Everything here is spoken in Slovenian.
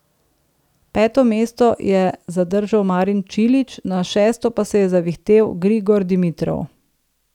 Peto mesto je zadržal Marin Čilić, na šesto pa se je zavihtel Grigor Dimitrov.